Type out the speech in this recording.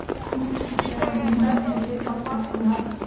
Bu kichik raqam emas”, dedi podpolkovnik.